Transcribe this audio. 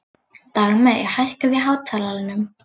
Dagmey, hækkaðu í hátalaranum.